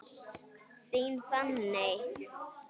Þín, Fanney.